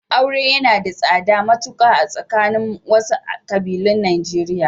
Aure yana da tsada matuƙa a tsakanin wasu ƙabilun Najeriya.